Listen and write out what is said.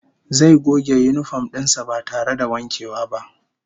Zai goge yinifom din sa ba tare da wankewa ba